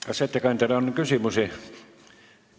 Kas ettekandjale on küsimusi?